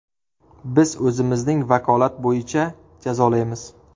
Biz o‘zimizning vakolat bo‘yicha jazolaymiz.